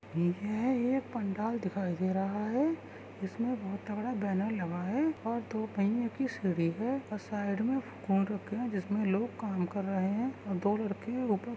ये एक पंडाल दिखाई दे रहा है। जिसमे बहोत तगड़ा बैनर लगा है और दो पहिये कि सीढ़ी है और साइड मे कुंडो की जिसमे लोग काम कर रहे है और दो लड़के उपर --